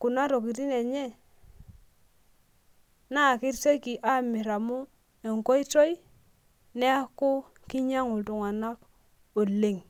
Kuna tokitin enye, naa kesioki Aamir amu enkoitoi neeku kinyiang'u iltunganak oleng.